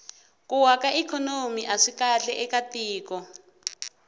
ku wa ka ikhonomi aswi kahle eka tiko